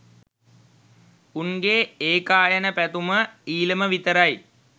උන්ගේ ඒකායන පැතුම ඊලම විතරයි